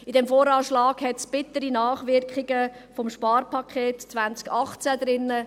In diesem VA hat es bittere Nachwirkungen des Sparpakets 2018.